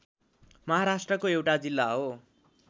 महाराष्ट्रको एउटा जिल्ला हो